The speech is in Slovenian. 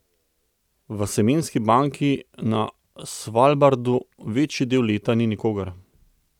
V semenski banki na Svalbardu večji del leta ni nikogar.